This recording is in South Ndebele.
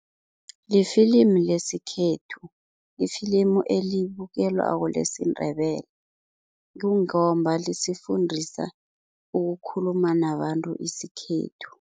Lifilimu lesikhethu, lifilimu elibukelwako lesiNdebele, kungomba lisifundisa ukukhuluma nabantu isikhethu.